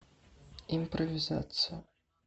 импровизация